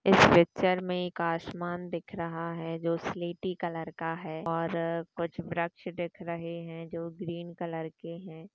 इस पिक्चर में एक आसमान दिख रहा है जो स्लेटी कलर का है और कुछ वृक्ष दिख रहे जो ग्रीन कलर के है।